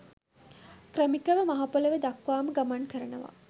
ක්‍රමිකව මහ පොළව දක්වාම ගමන් කරනවා.